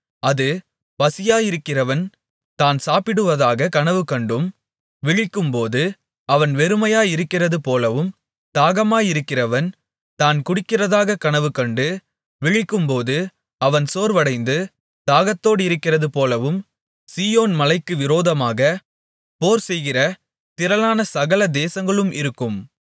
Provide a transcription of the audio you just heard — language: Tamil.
அது பசியாயிருக்கிறவன் தான் சாப்பிடுவதாக கனவு கண்டும் விழிக்கும்போது அவன் வெறுமையாயிருக்கிறதுபோலவும் தாகமாயிருக்கிறவன் தான் குடிக்கிறதாக கனவுகண்டும் விழிக்கும்போது அவன் சோர்வடைந்து தாகத்தோடிருக்கிறதுபோலவும் சீயோன் மலைக்கு விரோதமாக போர்செய்கிற திரளான சகல தேசங்களும் இருக்கும்